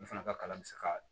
N fana ka kalan bɛ se ka